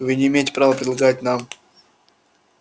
вы не имеете права предлагать нам